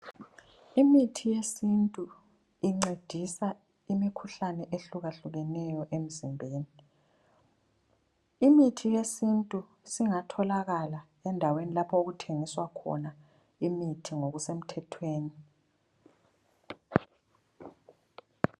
Imithi yesintu incedisa imkhuhlane ehlukahlukeneyo emzimbeni. Imithi yesintu singathokala endaweni lapho okuthengiswa khona imithi ngokusemthethweni.